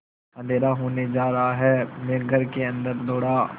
अँधेरा होने जा रहा है मैं घर के अन्दर दौड़ा